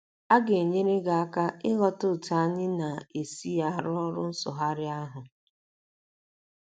a ga - enyere gị aka ịghọta otú anyị na - esi arụ ọrụ nsụgharị ahụ.